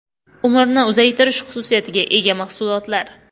Umrni uzaytirish xususiyatiga ega mahsulotlar.